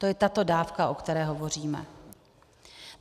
To je tato dávka, o které hovoříme.